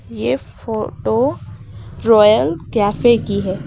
ये photo royal cafe की है।